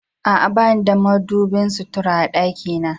A'a, bani da madubin sutura a dakina.